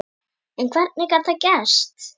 En hvernig gat það gerst?